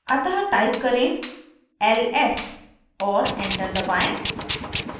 अतः type करें ls और enter दबाएं